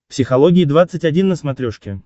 психология двадцать один на смотрешке